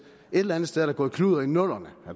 eller andet sted gået kludder i nullerne